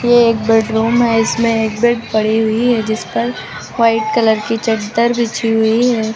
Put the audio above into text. ये एक बेडरूम है। इसमें एक बेड पड़ी हुई है जिस पर व्हाइट कलर की चद्दर बिछी हुई है।